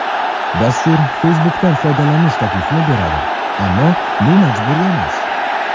Dastur Facebook’dan foydalanish taklifini beradi, ammo bu majburiy emas.